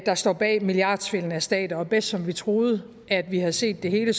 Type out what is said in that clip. der står bag milliardsvindelen mod stater og bedst som vi troede at vi havde set det hele